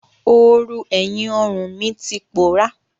Oorùn ẹ̀yìn ọrùn mi ti pòọ́rá.